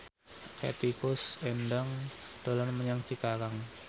Hetty Koes Endang dolan menyang Cikarang